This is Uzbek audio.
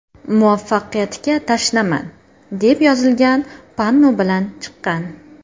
Muvaffaqiyatga tashnaman”, deb yozilgan panno bilan chiqqan.